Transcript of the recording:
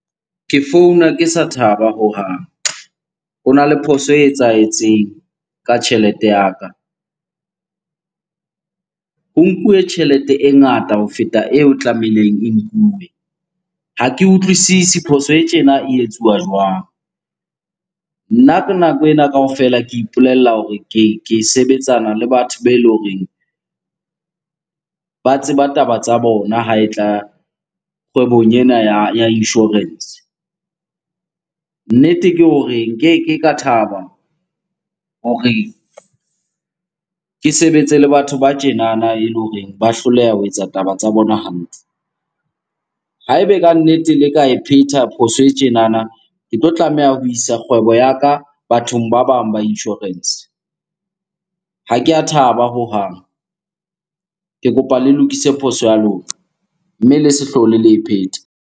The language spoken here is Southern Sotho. Ke founa ke sa thaba hohang. Hona le phoso e etsahetseng ka tjhelete ya ka. Ho nkuwe tjhelete e ngata ho feta eo tlamehileng e nkuwe. Ha ke utlwisisi phoso e tjena e etsuwa jwang? Nna ka nako ena kaofela ke ipolella hore ke sebetsana le batho be eleng horeng ba tseba taba tsa bona ha e tla kgwebong ena ya insurance. Nnete ke hore nkeke ka thaba hore ke sebetse le batho ba tjenana eleng hore ba hloleha ho etsa taba tsa bona hantle. Ha ebe ka nnete le ka e pheta phoso e tjenana, ke tlo tlameha ho isa kgwebo ya ka bathong ba bang ba insurance. Ha ke a thaba hohang. Ke kopa le lokise phoso ya lona, mme le se hlole le e phetha.